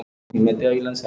Hann hafði ort það.